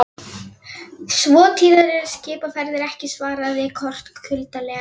Svo tíðar eru skipaferðir ekki, svaraði Kort kuldalega.